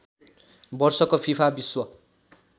वर्षको फिफा विश्व